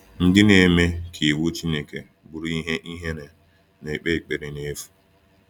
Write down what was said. Ndị na-eme ka iwu Chineke bụrụ ihe ihere na-ekpe ekpere n’efu.